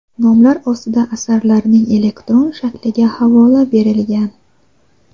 Nomlar ostida asarlarning elektron shakliga havola berilgan.